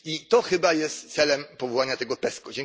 I to chyba jest celem powołania tego PESCO.